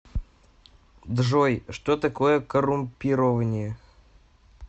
джой что такое коррумпирование